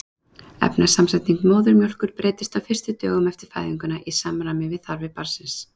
Efnasamsetning móðurmjólkur breytist á fyrstu dögum eftir fæðinguna í samræmi við þarfir barnsins.